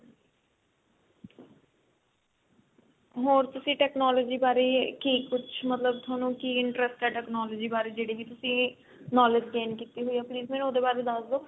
ਹੋਰ ਤੁਸੀਂ technology ਬਾਰੇ ਕੀ ਕੁਛ ਮਤਲਬ ਥੋਨੂੰ ਕੀ interest ਹੈ technology ਬਾਰੇ ਜਿਹੜੀ ਵੀ ਤੁਸੀਂ knowledge gain ਕੀਤੀ ਹੋਈ ਆ ਉਹਦੇ ਬਾਰੇ ਦੱਸ ਦੋ